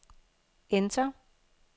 enter